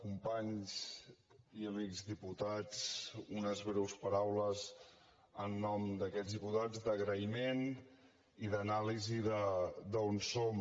companys i amics diputats unes breus paraules en nom d’aquests diputats d’agraïment i d’anàlisi d’on som